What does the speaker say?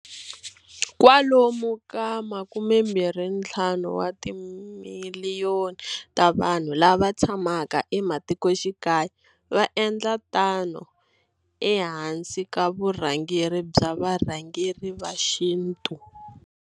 Kwalomu ka 25 wa timiliyoni ta vanhu lava tshamaka ematikoxikaya va endla tano ehansi ka vu rhangeri bya varhangeri va xintu.